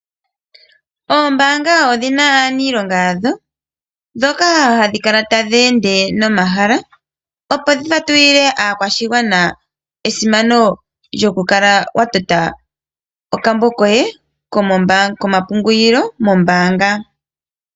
Oombaanga odhi na aaniilonga yadho mboka haya kala taya ende nomahala opo ya fatulile aakwashigwana esimano lyokukala wa tota okambo koye komapungulilo mombaanga.